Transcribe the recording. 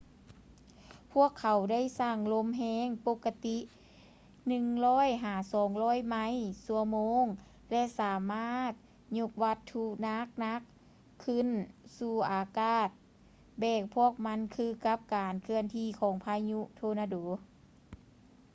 ພວກເຂົາໄດ້ສ້າງລົມແຮງ ປົກກະຕິ 100-200ໄມລ໌/ຊົ່ວໂມງ ແລະ ສາມາດຍົກວັດຖຸໜັກໆຂຶ້ນສູ່ອາກາດແບກພວກມັນຄືກັບການເຄື່ອນທີ່ຂອງພາຍຸໂທນາໂດ